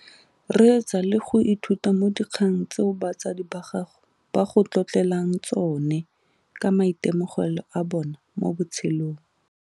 Reetsa le go ithuta mo dikgang tseo batsadi ba gago ba go tlotlelang tsone ka maitemogelo a bona mo botshelong.